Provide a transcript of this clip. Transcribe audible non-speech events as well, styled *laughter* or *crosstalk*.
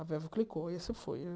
A *unintelligible* clicou e essa foi.